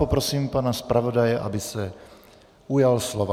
Poprosím pana zpravodaje, aby se ujal slova.